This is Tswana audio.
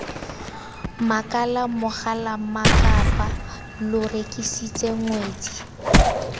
makala mogalammakapaa lo rekisitse ngwetsi